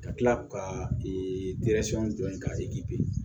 Ka tila k'u ka jɔ yen ka